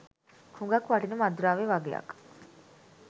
හුඟක් වටින මත්ද්‍රව්‍ය වගයක්.